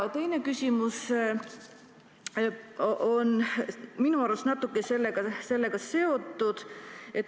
Teine küsimus on minu arust natuke sellega seotud.